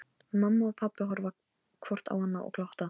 Mamma og pabbi horfa hvort á annað og glotta.